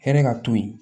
Hɛrɛ ka to yen